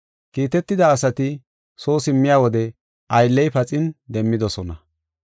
Kiitetida asati soo simmiya wode aylley paxin demmidosona.